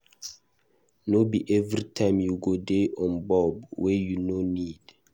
No be everytime you go dey on bulb wey you no need.